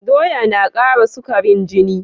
Doya na kara sukarin jini